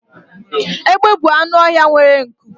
egbe bu anụ ọhịa nwere nku